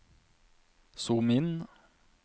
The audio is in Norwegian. zoom inn